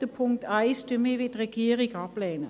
Den Punkt 1 lehnen wir wie die Regierung ab.